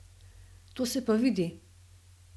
To se pa vidi!